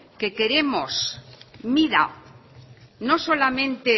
que queremos mida no solamente